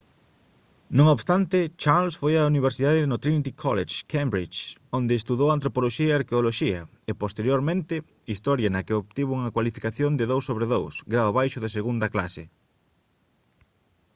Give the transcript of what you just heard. non obstante charles foi á universidade no trinity college cambridge onde estudou antropoloxía e arqueoloxía e posteriormente historia na que obtivo unha cualificación de 2:2 grao baixo de segunda clase